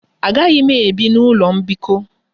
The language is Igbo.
Agaghị m ebi n'ụlọ mbikọ.